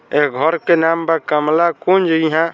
एह घर का नाम बा कमला कुंज इहाँ--